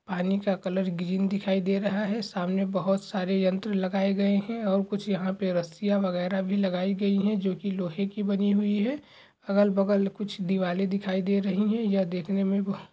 पानी का colour green दिखाई दे रहा है सामने बहोत सारे यंत्र लगाए गए हैं और कुछ यहाँ पे रस्सियाँ वगैरह भी लगाई गई हैं जोकि लोहे की बनी हुई है अगल-बगल कुछ दिवाले दिखाई दे रही है। यह देखने मे बोह --